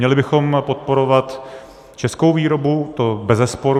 Měli bychom podporovat českou výrobu, to bezesporu.